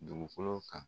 Dugukolo kan